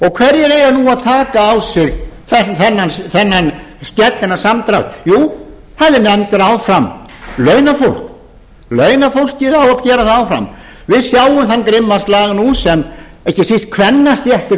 hverjir eiga nú að taka á sig þennan skell þennan samdrátt jú hann er nefndur áfram launafólk launafólkið á að gera það áfram við sjáum þann grimma slag nú sem ekki síst kvennastéttir